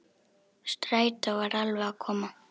Strætó var alveg að koma.